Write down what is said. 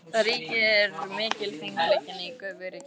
Þar ríkir mikilfengleikinn í göfugri kyrrð.